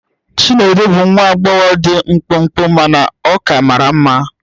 Chinedu bụ nwa agbọghọ dị mkpụmkpụ mana ọ ka mara mma.